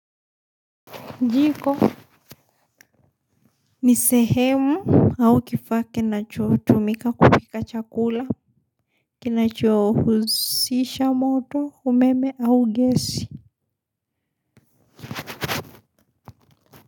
Jiko ni sehemu au kifaa kinachotumika kupika chakula kinachohusisha moto, umeme au gesi.